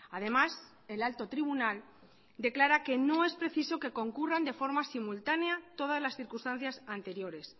además el alto tribunal declara que no es preciso que concurran de forma simultanea todas las circunstancias anteriores